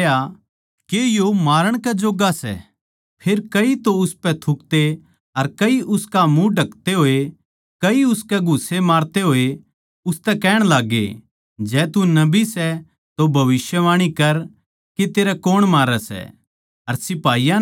फेर कई तो उसपै थूकते अर कई उसका मुँह ढकते होए कई उसकै घुस्से मारते होए उसतै कहण लाग्गे जै तू नबी सै तो भविष्यवाणी कर के तेरै कौन मारै सै अर सिपाहियाँ नै उस ताहीं पकड़कै थप्पड़ मारे